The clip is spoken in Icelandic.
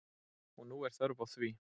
Og nú er þörf á því.